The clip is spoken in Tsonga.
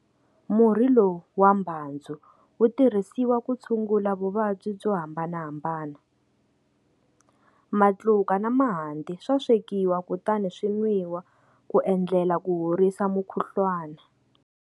Murhi lowu wa mbhandzu wu tirhisiwa ku tshungula vuvabyi byo hambanahambana. Matluka na mahanti swa swekiwa kutani swi nwiwa ku endlela ku horisa mukhuhlwana.